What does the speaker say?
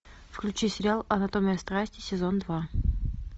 включи сериал анатомия страсти сезон два